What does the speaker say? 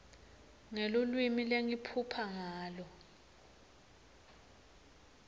ngelulwimi lengiphupha ngalo